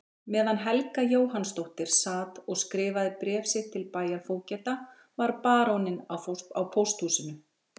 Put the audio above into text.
Meðan Helga Jóhannsdóttir sat og skrifaði bréf sitt til bæjarfógeta var baróninn á pósthúsinu.